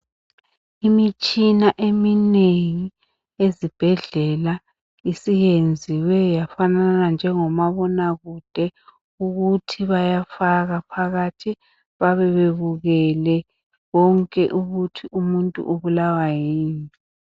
Imitshina eminengi ezibhendlela isiyenziwe yafanana njengomabonakude ukuthi bayafaka phakathi babe bebukele konke ukuthi umuntu ubulawa yini